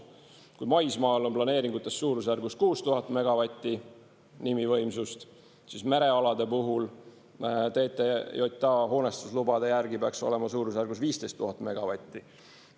Kui maismaal on planeeringutes suurusjärgus 6000 megavatti nimivõimsust, siis merealade puhul TTJA hoonestuslubade järgi peaks olema suurusjärgus 15 000 megavatti.